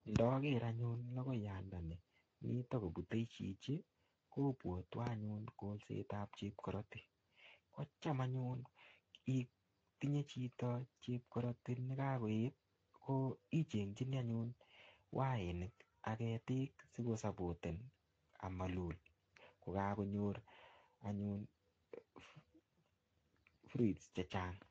Ndoker anyun lokoiyat ndoni mii tokopute chichi kobwotwon anyun kolsetab chepkoroti kotam anyun itinye chito chepkoroti nekokoyet ichenginii anyun wainik ak ketik sikosobote amolul kokokonyor anyun fruits chechang.